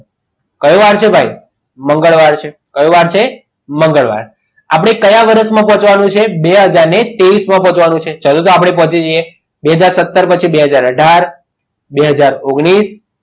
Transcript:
કયો વાર છે ભાઈ મંગળવાર છે કયો વાર છે મંગળવાર છે આપણે કયા વર્ષમાં પહોંચવાનું છે બે હાજર ત્રેવીસ માં પહોંચવાનું છે ચલો આપણે પહોંચી જઈએ બે હાજર સત્તર પછી બે હાજર આધાર બે હાજર ઓગણીસ